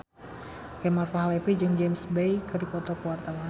Kemal Palevi jeung James Bay keur dipoto ku wartawan